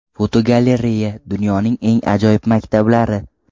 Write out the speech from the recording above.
Fotogalereya: Dunyoning eng ajoyib maktablari.